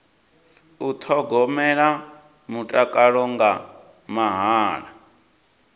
u thogomela mutakalo nga mahala